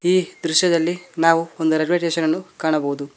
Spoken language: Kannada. ಈ ದೃಶ್ಯದಲ್ಲಿ ನಾವು ಒಂದು ರೈಲ್ವೆ ಸ್ಟೇಷನ್ ಅನ್ನು ಕಾಣಬಹುದು.